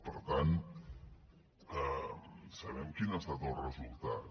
per tant sabem quin ha estat el resultat